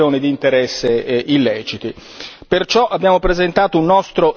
si possono verificare infiltrazioni di interessi illeciti.